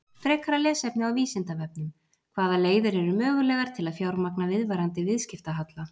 Frekara lesefni á Vísindavefnum: Hvaða leiðir eru mögulegar til að fjármagna viðvarandi viðskiptahalla?